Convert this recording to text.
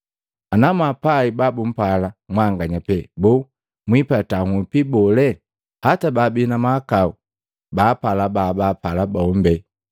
“Anamwapai babumpala mwanganya pee, boo, mwiipata nhupi bole? Hata baabi na mahakau baapala babapala bombi!